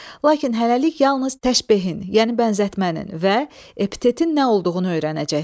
Lakin hələlik yalnız təşbehin, yəni bənzətmənin və epitetin nə olduğunu öyrənəcəksən.